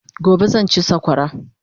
Gobe zan chi sakwara